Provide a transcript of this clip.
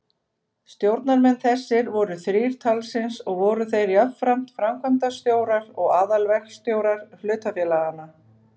Stjórnarmenn þessir voru þrír talsins og voru þeir jafnframt framkvæmdastjórar og aðalverkstjórar hlutafélaganna.